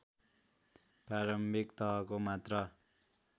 प्रारम्भिक तहको मात्र